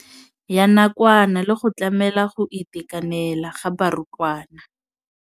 Ya nakwana le go tlamela go itekanela ga barutwana.